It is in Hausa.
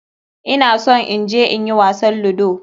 Ina son in je in yi wasan ludo.